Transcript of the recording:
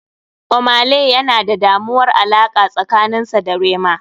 Ohmay lay yana da damuwar alaqa tsakanin sa da rema.